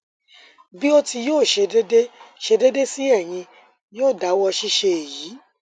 bi o ti yoo ṣe deede ṣe deede si eyin yoo dawọ ṣiṣe eyi